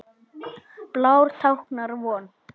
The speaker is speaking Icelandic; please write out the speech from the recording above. Blár táknar von.